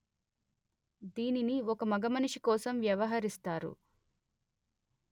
దీనిని ఒక మగమనిషి కోసం వ్యవహరిస్తారు